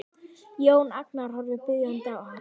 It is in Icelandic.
Jón Agnar horfir biðjandi á hann.